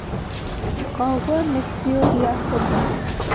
Kogwo nĩ ciũria hũthũ?